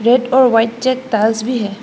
Red और white check task भी है।